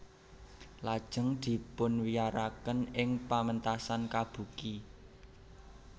Lajeng dipunwiyaraken ing pamentasan kabuki